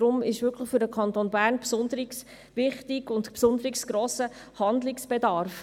Deshalb ist es für den Kanton Bern besonders wichtig, und es besteht ein besonders grosser Handlungsbedarf.